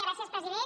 gràcies president